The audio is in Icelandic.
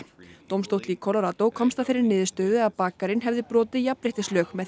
dómstóll í Colorado komst að þeirri niðurstöðu að bakarinn hefði brotið jafnréttislög með